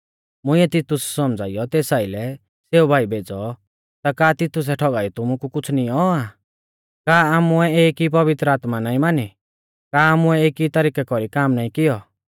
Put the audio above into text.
मुंइऐ तितुस सौमझ़ाइयौ तेस आइलै सेऊ भाई भेज़ौ ता का तितुसै ठौगाइयौ तुमु कु कुछ़ नींऔ आ का आमुऐ एक ई पवित्र आत्मा नाईं मानी का आमुऐ एकी तरिकै कौरी काम नाईं किऐ